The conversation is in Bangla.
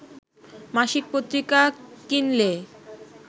মাসিক পত্রিকা কিনলে